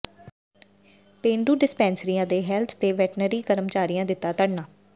ਪੇਂਡੂ ਡਿਸਪੈਂਸਰੀਆਂ ਦੇ ਹੈਲਥ ਤੇ ਵੈਟਰਨਰੀ ਕਰਮਚਾਰੀਆਂ ਦਿੱਤਾ ਧਰਨਾ